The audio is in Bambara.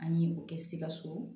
An ye o kɛ sikaso